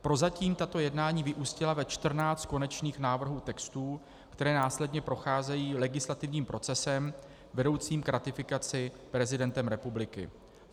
Prozatím tato jednání vyústila ve čtrnáct konečných návrhů textů, které následně procházejí legislativním procesem vedoucím k ratifikaci prezidentem republiky.